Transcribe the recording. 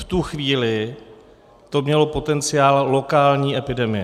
V tu chvíli to mělo potenciál lokální epidemie.